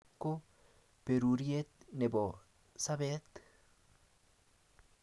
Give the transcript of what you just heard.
petushiek tugul ak inye ko beruriet nebo sabet